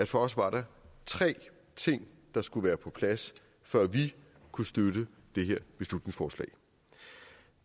for os var tre ting der skulle være på plads før vi kunne støtte det her beslutningsforslag